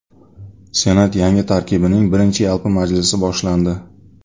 Senat yangi tarkibining birinchi yalpi majlisi boshlandi.